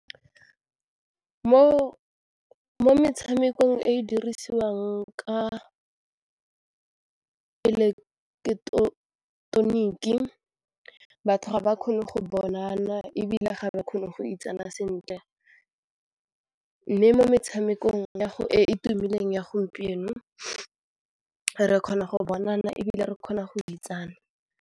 Mo metshamekong e e dirisiwang ka eileketeroniki batho ga ba kgone go bonana ebile ga ba kgone go itsana sentle mme mo metshamekong e tumileng ya gompieno re kgona go bonana ebile re kgona go .